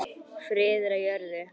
Friður á jörðu.